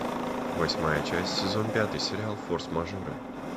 восьмая часть сезон пятый сериал форс мажоры